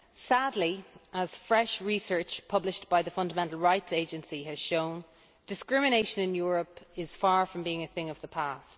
Sadly, as fresh research published by the Fundamental Rights Agency has shown, discrimination in Europe is far from being a thing of the past.